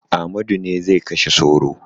Amadu ne zai kashe sauro.